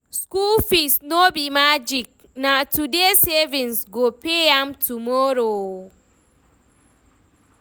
School fees no be magic, na today savings go pay am tomorrow.